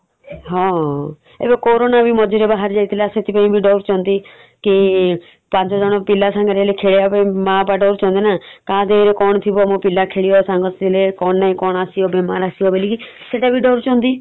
ହଁ ଏବେ କୋରୋନା ବି ମଝିରେ ବାହାରି ଯାଇଥିଲା ସେଥିପାଇଁ ବି ଡରୁଚନ୍ତି । କି ପାଞ୍ଚ ଜଣ ପିଲା ସାଙ୍ଗରେ ହେଲେ ଖେଳିଆ ପାଇଁ ମା ବାପା ଡରୁଛନ୍ତି ନା କାହା ଦେହେରେ କଣ ଥିବ ମୋ ପିଲା କଣ ନାଇଁ କଣ ଆସିବ ଆସିବ ବୋଲିକି ସେଟା ବି ଡରୁଛନ୍ତି ।